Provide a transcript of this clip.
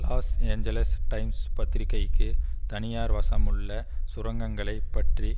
loss Angeles Times பத்திரிகைக்கு தனியார் வசமுள்ள சுரங்கங்களைப் பற்றி